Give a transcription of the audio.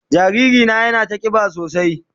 Jariri na yana ta kiba sosai.